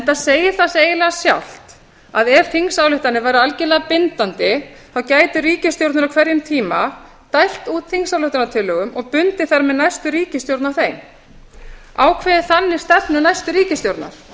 það segir sig líka eiginlega sjálft að ef þingsályktanir væru algerlega bindandi gætu ríkisstjórnir á hverjum tíma dælt út þingsályktunartillögum bundið þar með næstu ríkisstjórn og ákveðið þannig stefnu næstu ríkisstjórnar